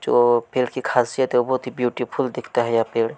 जो पेड़ की खासियत थी ब्यूटीफुल दिखता है यह पेड़--